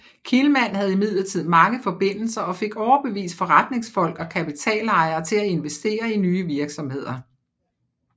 Kihlman havde imidlertid mange forbindelser og fik overbevist forretningsfolk og kapitalejere til at investere i nye virksomheder